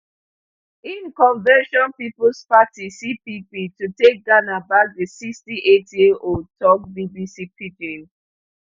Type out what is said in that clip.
im convention peoples party cpp to take ghana back di sixty-eightyearold tok bbc pidgin